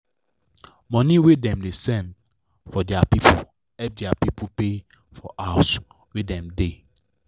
money wey dem da send for dia pipu help dia pipu pay for house wey dem da